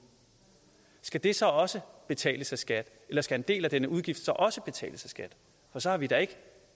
skal det så også betales af skat eller skal en del af denne udgift også betales af skat for så har vi da ikke